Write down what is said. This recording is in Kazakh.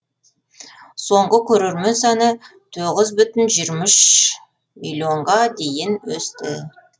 соңғы көрермен саны тоғыз бүтін жиырма үш миллионға дейін өсті